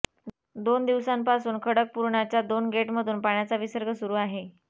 दोन दिवसांपासून खडकपूर्णाच्या दोन गेटमधून पाण्याचा विसर्ग सुरू आहे